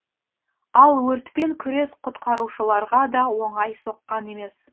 ал өртпен күрес құтқарушыларға да оңай соққан емес